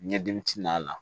Ɲɛdimi t'a la